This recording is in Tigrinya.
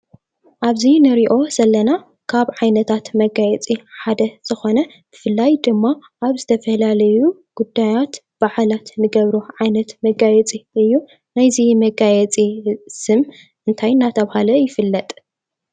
ኣብዚ ንሪኦ ዘለና ካብ ዓይነታት መጋየፂ ሓደ ዝኾነ ብፍላይ ድማ ኣብ ዝተፈላለዩ ጉዳያት በዓላት ንገብሮም ዓይነት መጋየፂ እዩ ። ናይዚ መጋየፂ ስም እንታይ እንዳተባሃለ ይፍለጥ ።